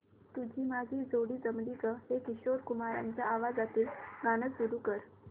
तुझी माझी जोडी जमली गं हे किशोर कुमारांच्या आवाजातील गाणं सुरू कर